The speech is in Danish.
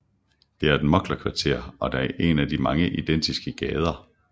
Det er et mugglerkvarter og det er en af mange identiske gader